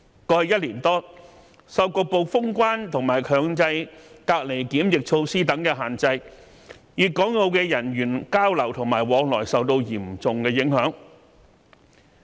過去1年多，受局部封關及強制隔離檢疫措施等限制，粵港澳的人員交流及往來受到嚴重影響。